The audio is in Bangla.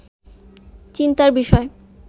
চিন্তার বিষয়